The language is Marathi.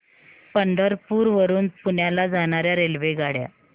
पंढरपूर वरून पुण्याला जाणार्या रेल्वेगाड्या